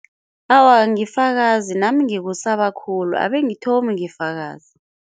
Awa angifakazi nami ngikusaba khulu, abe angithomi ngifakaze.